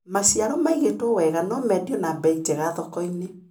Maciaro maigĩtwo wega nomendio na mbei njega thokoinĩ.